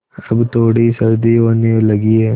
अब थोड़ी सर्दी होने लगी है